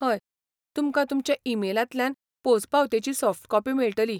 हय, तुमकां तुमच्या ई मेलांतल्यान पोंचपावतेची सॉफ्ट कॉपी मेळटली.